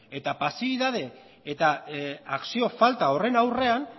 eta pasibitate eta akzio falta horren aurrean